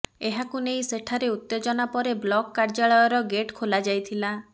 ଏହାକୁ ନେଇ ସେଠାରେ ଉତ୍ତେଜନା ପରେ ବ୍ଳକ କାର୍ଯ୍ୟାଳୟର ଗେଟ ଖୋଲାଯାଇଥିଲା